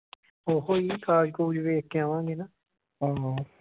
ਉਹ ਈ ਕਾਗਜ਼ ਕੁਗਜ਼ ਵੇਖ ਕੇ ਆਵਾਂਗੇ ਨਾ।